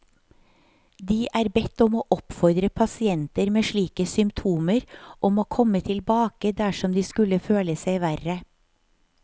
De er bedt om å oppfordre pasienter med slike symptomer om å komme tilbake dersom de skulle føle seg verre.